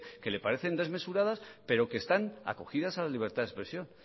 que le parece desmesuradas pero que están acogidas a la libertad de expresión